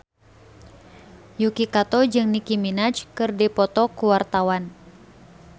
Yuki Kato jeung Nicky Minaj keur dipoto ku wartawan